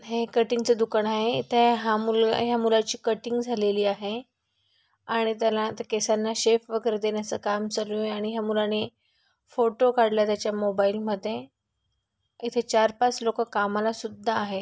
हे कटींग च दुकान आहे इथे हा मुलगा ह्या मुलाची कटींग झालेली आहे आणि त्याला ते केसाना शेप वगैरे देण्याच काम चालू आहे आणि ह्या मुलाने फोटो काढला त्याने त्याच्या मोबाइल मध्ये इथे चार-पाच लोक कामाला सुद्धा आहे.